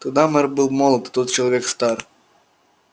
тогда мэр был молод а тот человек стар